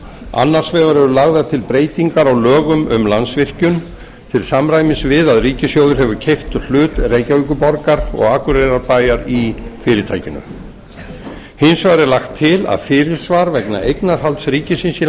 annars vegar eru lagðar til breytingar á lögum um landsvirkjun til samræmis við að ríkissjóður hefur keypt hlut reykjavíkurborgar og akureyrarbæjar í fyrirtækinu hins vegar er lagt til að fyrirsvar vegna eignarhalds ríkisins í